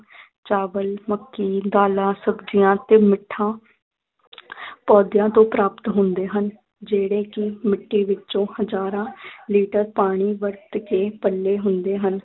ਚਾਵਲ, ਮੱਕੀ, ਦਾਲਾਂ, ਸਬਜੀਆਂ ਤੇ ਮਿੱਠਾ ਪੌਦਿਆਂ ਤੋਂ ਪਰਾਪਤ ਹੁੰਦੇ ਹਨ ਜਿਹੜੇ ਕਿ ਮਿੱਟੀ ਵਿੱਚੋਂ ਹਜਾਰਾਂ ਲੀਟਰ ਪਾਣੀ ਵਰਤ ਕੇ ਪਲੇ ਹੁੰਦੇ ਹਨ